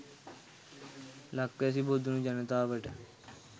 ලක්වැසි බොදුනු ජනතාවට